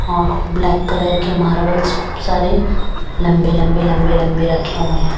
और black colour के marbles खूब सारे लंबे लंबे लंबे लंबे रखे हुए हैं।